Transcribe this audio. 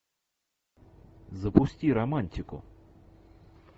запусти романтику